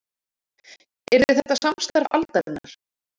Yrði þetta samstarf aldarinnar